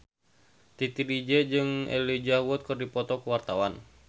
Titi DJ jeung Elijah Wood keur dipoto ku wartawan